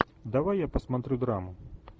давай я посмотрю драму